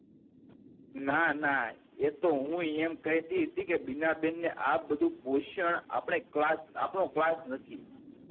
ના ના એતો હું એમ કેહતી હતી કે બીના બેન ને આ બધું પોષણ આપળે ક્લાસ આપનું ક્લાસ નથી